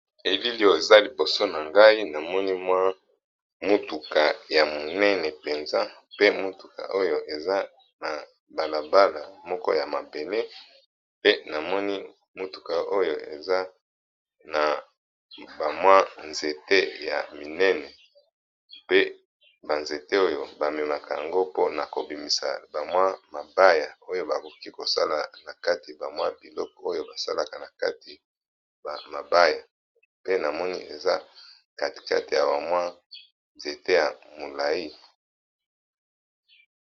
Elili oyo eza liboso na ngai namoni mwa motuka ya minene mpenza pe motuka oyo eza na balabala moko ya mabele pe namoni motuka oyo eza na bamwa nzete ya minene pe banzete oyo bamemaka yango mpona kobimisa bamwa mabaya oyo bakoki kosala na kati bamwa biloko oyo basalaka na kati mabaya pe na moni eza katikate ya wamwa nzete ya molayi.